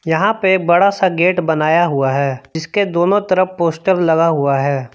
यहां पे बड़ा सा गेट बनाया हुआ है जिसके दोनों तरफ पोस्टर लगा हुआ है।